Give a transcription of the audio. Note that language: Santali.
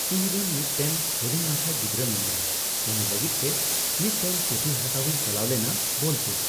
ᱤᱧᱨᱮᱱ ᱢᱤᱫᱽᱴᱮᱱ ᱦᱩᱰᱤᱧ ᱢᱟᱪᱷᱟ ᱜᱤᱫᱽᱨᱟᱹ ᱢᱮᱱᱟᱭᱟ ᱩᱱᱤ ᱞᱟᱹᱜᱤᱫᱽᱛᱮ ᱢᱤᱫᱽᱴᱮᱱ ᱯᱩᱛᱷᱤ ᱦᱟᱛᱟᱣᱤᱧ ᱪᱟᱞᱟᱣ ᱞᱮᱱᱟ ᱵᱳᱞᱯᱩᱨ